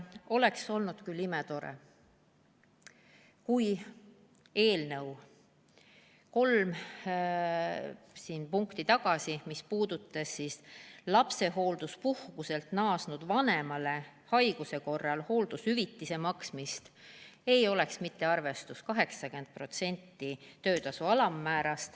Oleks olnud imetore, kui eelnõus, mis puudutas lapsehoolduspuhkuselt naasnud vanemale haiguse korral hooldushüvitise maksmist, ei oleks see arvestus olnud 80% töötasu alammäärast.